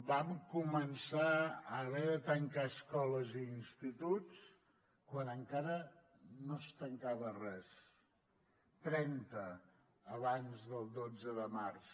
vam començar a haver de tancar escoles i instituts quan encara no es tancava res trenta abans del dotze de març